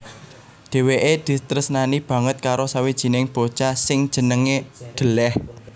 Dhèwèké ditresnani banget karo sawijining bocah sing jenengé D Leh